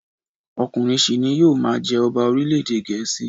Ọkùnrin sì ni yóò máa jẹ ọba orílẹ̀ èdè Gẹ̀ẹ́sì.